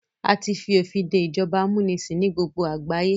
A tí fi òfin dé ìjọba amúnisìn ní gbogbo àgbáyé.